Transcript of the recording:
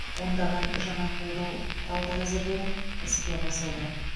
ондаған жаңа қолдау құралдары әзірленіп іске қосылды